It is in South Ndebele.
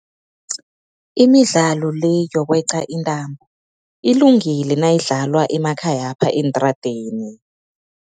Imidlalo le yokweqa intambo, ilungile nayidlalwa emakhayapha eentradeni.